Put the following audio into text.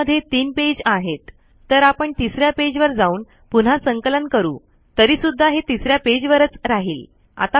यामध्ये ३ पेज आहेत तर आपण तिसऱ्या पेज वर जाऊन पुन्हा संकलन करू तरीसुद्धा हे तिसऱ्या पेज वरच राहील